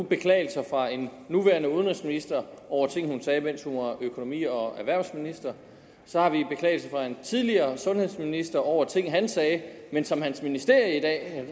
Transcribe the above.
beklagelser fra en nuværende udenrigsminister over ting hun sagde mens hun var økonomi og erhvervsminister så har vi en beklagelse fra en tidligere sundhedsminister over ting han sagde men som hans ministerium